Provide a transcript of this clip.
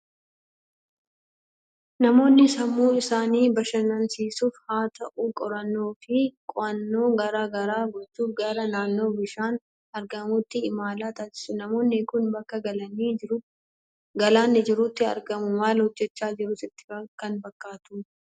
Namoonni sammuu isaanii bashannansiisuufis haa ta'u, qorannoo fi qo'annoo garaa garaa gochuuf garaa naannoo bishaan argamuutti imala taasisu. Namoonni kun bakka galaanni jiruutti argamu. Maal hojjechaa jiru sitti kan fakkaatudha?